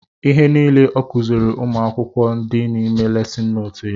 Ihe nile ọ kuziri ụmụ akwụkwọ dị n'ime lesin nootu ya